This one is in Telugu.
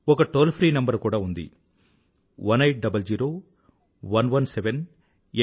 ఒక టోల్ ఫ్రీ నంబరు కూడా ఉంది 1800117800